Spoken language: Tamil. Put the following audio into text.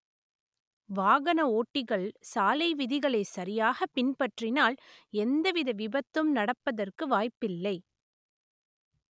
வாகன ஓட்டிகள் சாலை விதிகளை சரியாக பின்பற்றினால் எந்தவித விபத்தும் நடப்பதற்கு வாய்ப்பில்லை